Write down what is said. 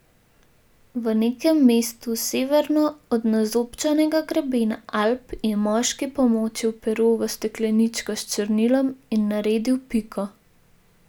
V nekem mestu severno od nazobčanega grebena Alp je moški pomočil pero v stekleničko s črnilom in naredil piko.